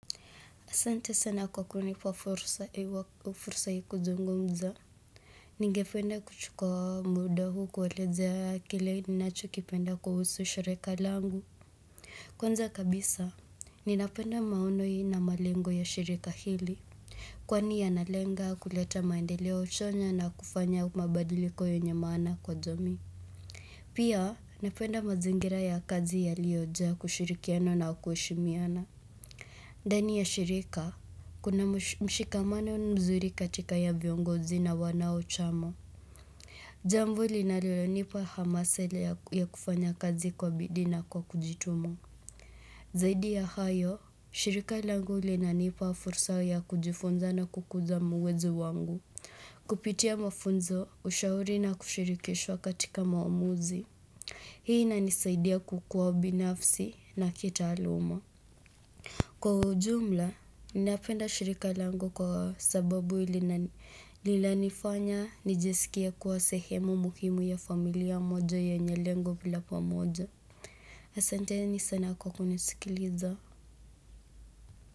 Asante sana kwa kunipa fursa hii kuzungumza. Ningependa kuchukua muda huu kuelezea kile ninachokipenda kuhusu shirika langu. Kwanza kabisa, ninapenda maono hii na malengo ya shirika hili. Kwani yanalenga kuleta maendeleo chanya na kufanya mabadiliko yenye maana kwa jamii. Pia, napenda mazingira ya kazi ya yaliyojaa kushirikiano na kuheshimiana. Ndani ya shirika, kuna mshikamano mzuri katika ya viongozi na wanachama. Jambo linalo nipa hamasa ile ya kufanya kazi kwa bidii na kwa kujituma Zaidi ya hayo, shirika langu linanipa fursa ya kujifunza na kukuza uwezo wangu. Kupitia mafunzo ushauri na kushirikishwa katika maamuzi, hii inanisaidia kukuwa binafsi na kitaaluma. Kwa ujumla, ninapenda shirika lango kwa sababu linanifanya nijiskie kuwa sehemu muhimu ya familia moja yenye lengo la pamoja. Asanteni sana kwa kunisikiliza.